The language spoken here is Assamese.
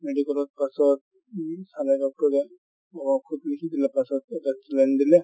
medical ত তাৰপাছত উম অলপ ঔষধ লিখি দিলে তাৰপাছত এটা saline দিলে